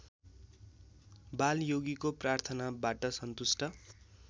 बालयोगीको प्रार्थनाबाट सन्तुष्ट